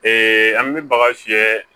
an bɛ baga fiyɛ